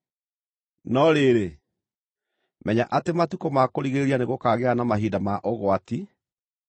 No rĩrĩ, menya atĩ matukũ ma kũrigĩrĩria nĩgũkagĩa na mahinda ma ũgwati.